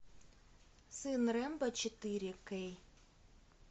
сын рембо четыре кей